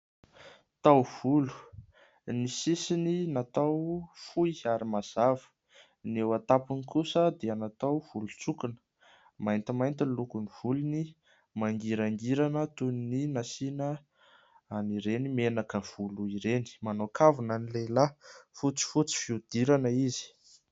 Taovolo : ny sisiny natao fohy ary mazava, ny eo an-tapony kosa dia natao volon-tsokina. Maintimainty ny lokon'ny volony, mangirangirana toy ny nasiana an'ireny menaka volo ireny. Manao kavina ny lehilahy, fotsifotsy fihodirana izy.